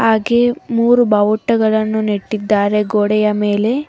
ಹಾಗೆ ಮೂರು ಬಾವುಟಗಳನ್ನು ನೆಟ್ಟಿದ್ದಾರೆ ಗೋಡೆಯ ಮೇಲೆ--